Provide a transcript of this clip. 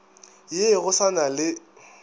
ye go sa na le